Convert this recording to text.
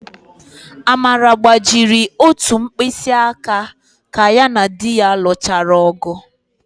Amara gbajiri ótù mkpịsịaka ka ya na di ya lụchara ọ̀gụ̀.